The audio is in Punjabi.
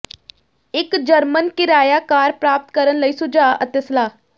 ਇੱਕ ਜਰਮਨ ਕਿਰਾਇਆ ਕਾਰ ਪ੍ਰਾਪਤ ਕਰਨ ਲਈ ਸੁਝਾਅ ਅਤੇ ਸਲਾਹ